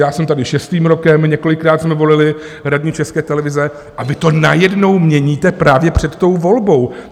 Já jsem tady šestým rokem, několikrát jsme volili radní České televize a vy to najednou měníte právě před tou volbou.